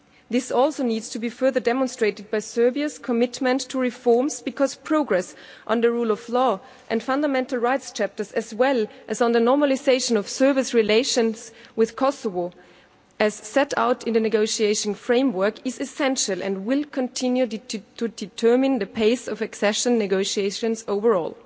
This also needs to be further demonstrated by Serbia's commitment to reforms, because progress on the rule of law and fundamental rights chapters, as well as on the normalisation of Serbia's relations with Kosovo, as set out in the negotiation framework, is essential and will continue to determine the pace of accession negotiations overall.